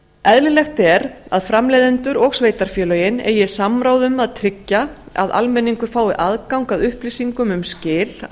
eðlilegt er að framleiðendur og sveitarfélögin eigi samráð um að tryggja að almenningur fái aðgang að upplýsingum um skil á